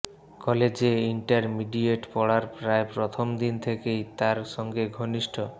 কলেজে ইন্টারমিডিয়েট পড়ার প্রায় প্রথম দিন থেকেই তার সঙ্গে ঘনিষ্ঠ